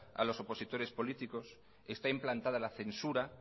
a los opositores políticos está implantada la censura